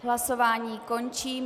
Hlasování končím.